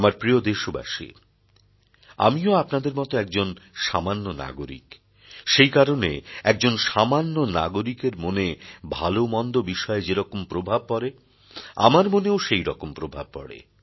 আমার প্রিয় দেশবাসী আমি ও আপনাদের মত একজন সামান্য নাগরিক সেই কারণে একজন সামান্য নাগরিকের মনে ভালো মন্দ বিষয়ে যেরকম প্রভাব পড়ে আমার মনেও সেই রকমই প্রভাব পড়ে